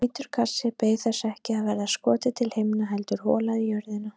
Hvítur kassi beið þess ekki að verða skotið til himna heldur holað í jörðina.